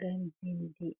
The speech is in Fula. gam bindi.